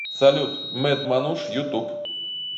салют мэд мануш ютуб